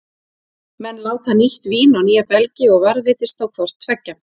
Menn láta nýtt vín á nýja belgi, og varðveitist þá hvort tveggja.